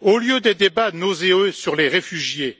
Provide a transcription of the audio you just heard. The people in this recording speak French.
Au lieu des débats nauséeux sur les réfugiés